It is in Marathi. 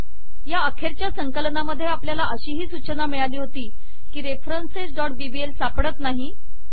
या अखेरच्या संकलनामध्ये आपल्याला अशीही सूचना मिळाली होती की referencesबीबीएल सापडत नाही